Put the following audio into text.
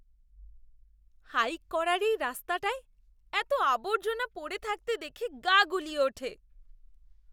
Hike করার এই রাস্তাটায় এতো আবর্জনা পড়ে থাকতে দেখে গা গুলিয়ে ওঠে!